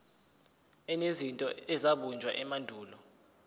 enezinto ezabunjwa emandulo